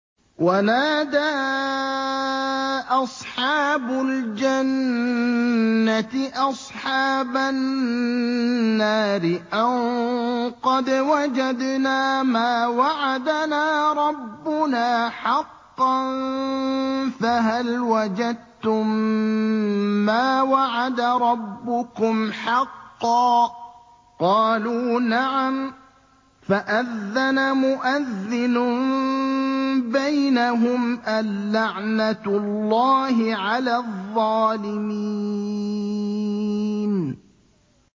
وَنَادَىٰ أَصْحَابُ الْجَنَّةِ أَصْحَابَ النَّارِ أَن قَدْ وَجَدْنَا مَا وَعَدَنَا رَبُّنَا حَقًّا فَهَلْ وَجَدتُّم مَّا وَعَدَ رَبُّكُمْ حَقًّا ۖ قَالُوا نَعَمْ ۚ فَأَذَّنَ مُؤَذِّنٌ بَيْنَهُمْ أَن لَّعْنَةُ اللَّهِ عَلَى الظَّالِمِينَ